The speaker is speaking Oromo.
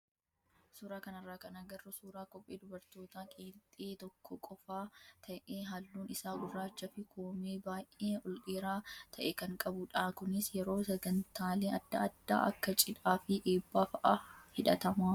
Suuraa kanarraa kan agarru suuraa kophee dubartootaa qeenxee tokko qofaa ta'ee halluun isaa gurraachaa fi koomee baay'ee ol dheeraa ta'e kan qabudha. Kunis yeroo sagantaalee adda addaa akka cidhaa fi eebbaa fa'aa hidhatama.